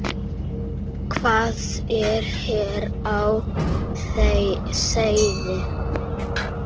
Hvað er hér á seyði?